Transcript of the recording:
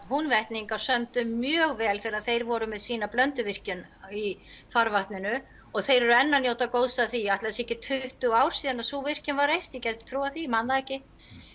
Húnvetningar sömdu mjög vel þegar þeir voru með sína Blönduvirkjun í farvatninu og þeir eru enn að njóta góðs af því ætli það séu ekki tuttugu ár síðan sú virkjun var reist ég gæti trúað því man það ekki